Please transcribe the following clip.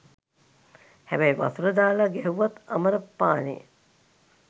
හැබැයි වතුර දාලා ගැහැව්වත් අමර පානේ.